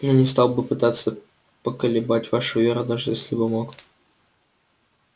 я не стал бы пытаться поколебать вашу веру даже если бы мог